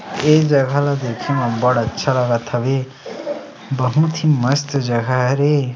ए जगह ला देखे म बढ़ अच्छा लगत हवे बहुत ही मस्त जगह हरे ।